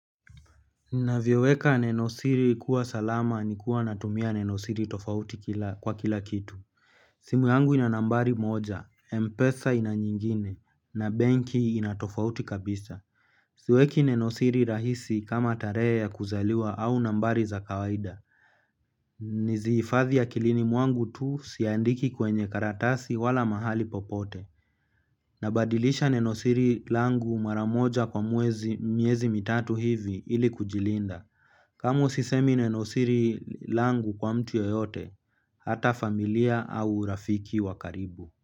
Navyoweka nenosiri kuwa salama ni kuwa natumia nenosiri tofauti kwa kila kitu simu yangu ina nambari moja, M-Pesa ina nyingine na banki ina tofauti kabisa. Siweki nenosiri rahisi kama tarehe ya kuzaliwa au nambari za kawaida. Niziifadhi akilini mwangu tu siandiki kwenye karatasi wala mahali popote. Nabadilisha nenosiri langu maramoja kwa mwezi miezi mitatu hivi ili kujilinda. Kamu sisemi nenosiri langu kwa mtu yeyote, hata familia au rafiki wa karibu.